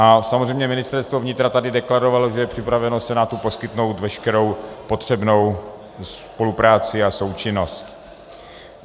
A samozřejmě Ministerstvo vnitra tady deklarovalo, že je připraveno Senátu poskytnout veškerou potřebnou spolupráci a součinnost.